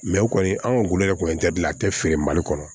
u kɔni an ka gulɔgɛ kɔni ye dilan a tɛ feere mali kɔnɔ